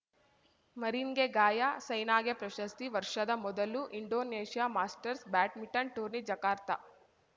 ಮರಿನ್‌ಗೆ ಗಾಯ ಸೈನಾಗೆ ಪ್ರಶಸ್ತಿ ವರ್ಷದ ಮೊದಲು Indonesia Masters badminton tourney Jakarta